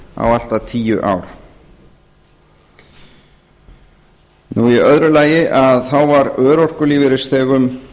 á allt að tíu ár í öðru lagi var örorkulífeyrisþegum